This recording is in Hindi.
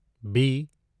बी